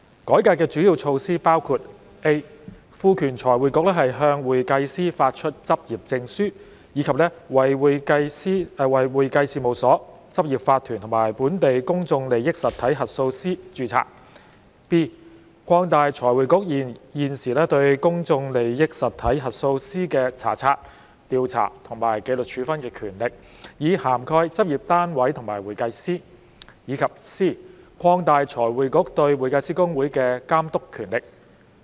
改革的主要措施包括 ：a 賦權財匯局向會計師發出執業證書，以及為會計師事務所、執業法團和本地公眾利益實體核數師註冊 ；b 擴大財匯局現時對公眾利益實體核數師的查察、調查和紀律處分權力，以涵蓋執業單位和會計師；以及 c 擴大財匯局對會計師公會的監督權力。